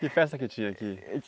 Que festa que tinha aqui?